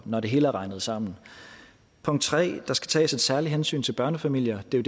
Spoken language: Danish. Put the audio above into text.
når det hele er regnet sammen punkt 3 der skal tages et særligt hensyn til børnefamilier det er